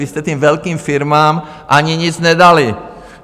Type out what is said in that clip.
Vy jste těm velkým firmám ani nic nedali.